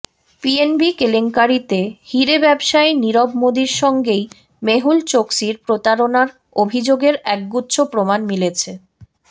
PNB কেলেঙ্কারিতে হিরে ব্যবসায়ী নীরব মোদির সঙ্গেই মেহুল চোকসির প্রতারণার অভিযোগের একগুচ্ছ প্রমাণ মিলেছে